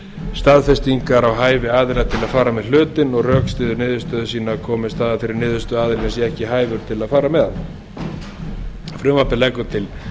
staðfestingar á hæfi aðila til að fara með hlutinn og rökstyður niðurstöðu sína komist það að þeirri niðurstöðu að aðilinn sé ekki hæfur til að fara með hann frumvarpið leggur til